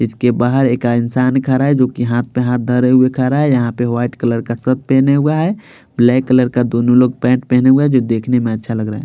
इसके बाहर एक इंसान खड़ा है जो कि हाथ पे हाथ धरे हुए खरा रहा है यहाँ पे वाइट कलर का शर्ट पहने हुआ है ब्लैक कलर का दोनों लोग पैंट पहने हुए है जो कि देखने में अच्छा लग रहा है।